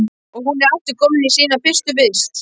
Og hún er aftur komin í sína fyrstu vist.